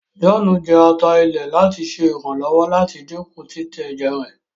John jẹ atá ilé láti ṣe iranlọwọ láti dínkù titẹ èjè rẹ